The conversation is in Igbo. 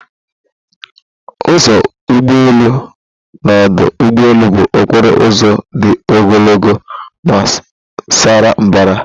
Ụzọ ụgbọelu n'ọdụ ụgbọelu bụ okporo ụzọ dị ogologo ma sara mbara.